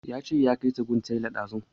Ya ce ya kai ta gun tailan ɗazu